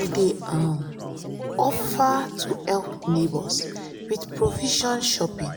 i dey um offer to help neighbors with provision shopping